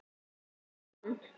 Ég vann.